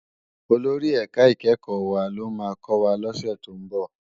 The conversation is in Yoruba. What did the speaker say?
Ólórì èká ikèékò wá ló má kòwá lòsè tó n bò